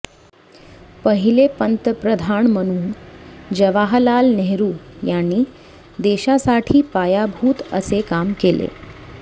पहिले पंतप्रधान म्हणून जवाहलाल नेहरू यानी देशासाठी पायाभूत असे काम केले